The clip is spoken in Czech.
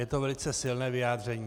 Je to velice silné vyjádření.